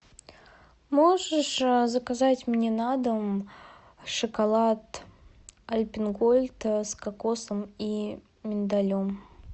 можешь заказать мне на дом шоколад альпен гольд с кокосом и миндалем